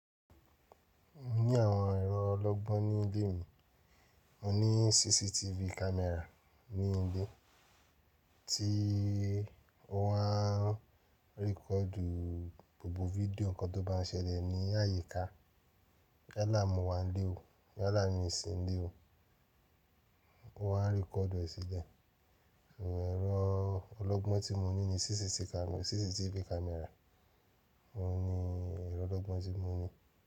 Ní àwọn ẹ̀rọ ọlọ́gbọ́n ní ilé mi, mo ní CCTV camera ní ilé tí ó máa ń record gbogbo fídíò nǹkan tó bá ń ṣẹlẹ̀ ní àyíká. Yala mo wà nílé ò, yala mi ìsìn lé ò, ó máa ń record e si le. Òun ẹ̀rọ ọlọ́gbọ́n tí mo ní ni CCTV camera, CCTV camera. Óun ni ẹ̀rọ ọlọ́gbọ́n tí mo ní.